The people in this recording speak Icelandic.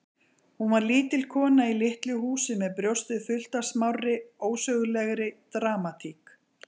Hún var lítil kona í litlu húsi með brjóstið fullt af smárri, ósögulegri dramatík.